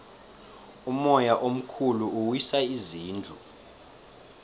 umoya omkhulu uwisa izindlu